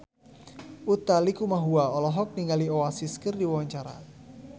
Utha Likumahua olohok ningali Oasis keur diwawancara